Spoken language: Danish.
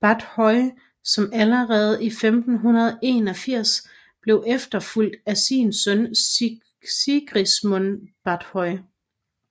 Báthory som allerede i 1581 blev efterfulgt af sin søn Sigismund Báthory